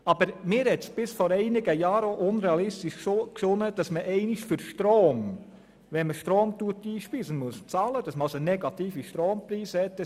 Aber mir erschien es bis vor einigen Jahren auch unrealistisch, dass man einmal für Strom, den man einspeist, würde zahlen müssen und somit negative Strompreise haben würde.